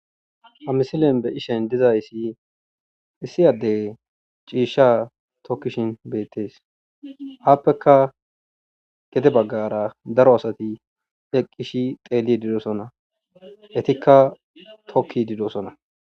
Ha misilen be'ishin dizayssi issi addey ciishsha tokkishin beettes. Aaffekka gede baggara daro asati eqqi xeellidi doosona. Etikka tokkidi de'osona.